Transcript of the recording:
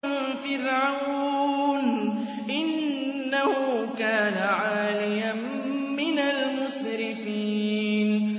مِن فِرْعَوْنَ ۚ إِنَّهُ كَانَ عَالِيًا مِّنَ الْمُسْرِفِينَ